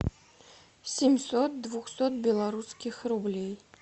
семьсот двухсот белорусских рублей